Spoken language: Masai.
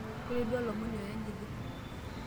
Koree duo olomoni oyanyiti.